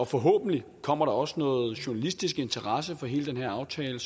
forhåbentlig kommer der også noget journalistisk interesse for hele den her aftale